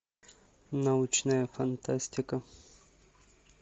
научная фантастика